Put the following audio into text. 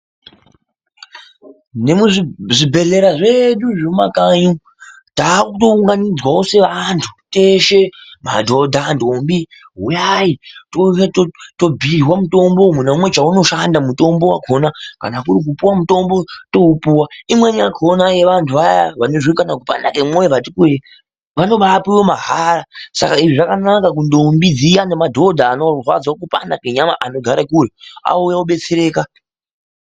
Nemuzvibhendlera zvedu zvemumakanyi takutounganidzwawo sevantu teshe ma dhodha ndombi. Huyai teshe tobhiirwa mitombo umwe neumwe chaunoshanda mutombo wakhona. Kana kuri kupuwa mutombo, toupuwa. Imweni yakhona yeantu vayaa vanozwa kana kupanda kwemwoyo vati kurei vanobapuwa mahara. Saka zvakanaka kundombi zviyaa nemadhodha anorwadzwa kupanda kwenyama vanogara kure ouya obetsereka.